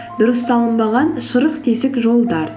дұрыс салынбаған шұрық тесік жолдар